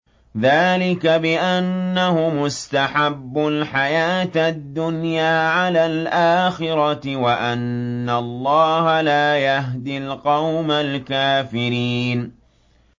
ذَٰلِكَ بِأَنَّهُمُ اسْتَحَبُّوا الْحَيَاةَ الدُّنْيَا عَلَى الْآخِرَةِ وَأَنَّ اللَّهَ لَا يَهْدِي الْقَوْمَ الْكَافِرِينَ